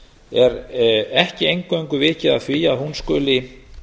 er ekki eingöngu vikið að því að hún skuli